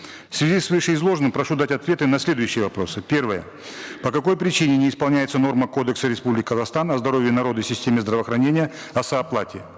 в связи с вышеизложенным прошу дать ответы на следующие вопросы первое по какой причине не исполняется норма кодекса республики казахстан о здоровье народа и системе здравоохранения о сооплате